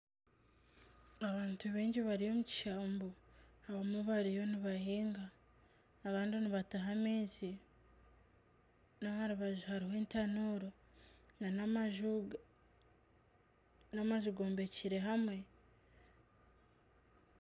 Abantu baingi bari omukishambu abamwe bariyo nibahinga abandi nibataha amaizi naharubaju hariho etanuuru nana amaju, nana amaju gombekire hamwe.